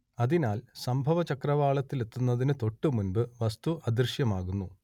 അതിനാൽ സംഭവചക്രവാളത്തിലെത്തുന്നതിന് തൊട്ടുമുമ്പ് വസ്തു അദൃശ്യമാകുന്നു